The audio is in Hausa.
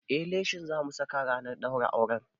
Eh, leshin zamu saka ranar ɗaurin auren